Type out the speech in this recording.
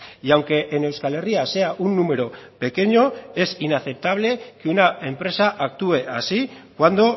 y aunque en euskal herria sea un número pequeño es inaceptable que una empresa actúe así cuando